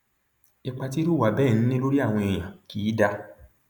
ipa tírú ìwà bẹẹ ń ní lórí àwọn èèyàn kì í dáa